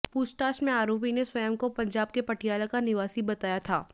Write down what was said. पूछताछ में आरोपी ने स्वयं को पंजाब के पटियाला निवासी बताया था